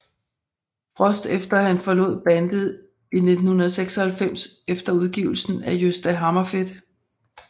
Frost efter han forlod bandet i 1996 efter udgivelsen af Gösta Hammerfedt